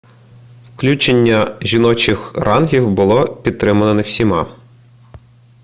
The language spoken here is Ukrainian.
включення жіночих рангів було пітримано не всіма